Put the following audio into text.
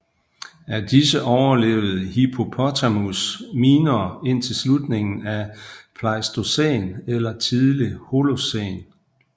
Af disse overlevede Hippopotamus minor indtil slutningen af Pleistocæn eller tidlig Holocæn